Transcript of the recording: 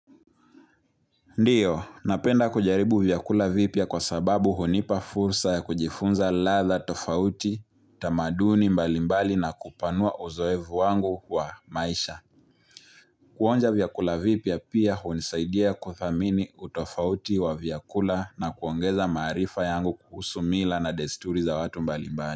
Ndiyo, napenda kujaribu vyakula vipya kwa sababu hunipa fursa ya kujifunza ladha tofauti, tamaduni mbalimbali na kupanua uzoefu wangu wa maisha. Kuonja vyakula vipya pia hunisaidia kuthamini utofauti wa vyakula na kuongeza maarifa yangu kuhusu mila na desturi za watu mbalimbali.